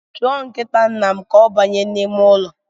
Chọọ nkita nnam ka ọ banye n’ime ụlọ